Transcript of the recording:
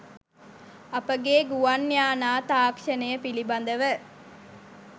අපගේ ගුවන් යානා තාක්ෂණය පිළිබදව